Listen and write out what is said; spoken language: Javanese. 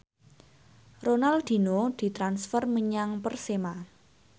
Ronaldinho ditransfer menyang Persema